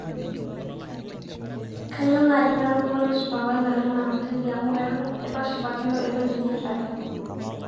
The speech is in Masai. kayieu naaji natumore supervisor lena hoteli amu eitu ashipakino ewueji nairaga